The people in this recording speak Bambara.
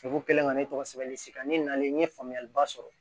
kɛlen ka ne tɔgɔ sɛbɛn ne nalen n ye faamuyaliba sɔrɔ